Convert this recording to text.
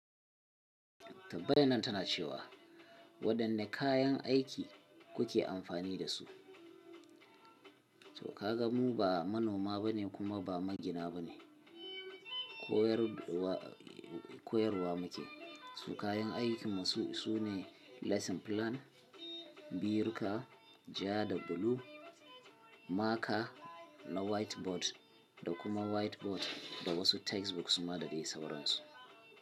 Tambayar nan tana cewa wadanne kayan aiki kuke amfani da su? To ka gan mu ba manoma ba ne kuma ba magina ba ne. Koyarwa muke. Su kayan aikin mu su ne lesson plan, biruka, ja da blue, maka na whiteboard da kuma whiteboard da wasu textbooks kuma dai da sauran su.